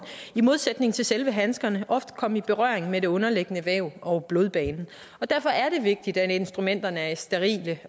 i modsætning til til handskerne ofte komme i berøring med det underliggende væv og blodbanen derfor er det vigtigt at instrumenterne er sterile